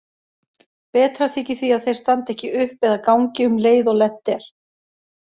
Betra þykir því að þeir standi ekki upp eða gangi um leið og lent er.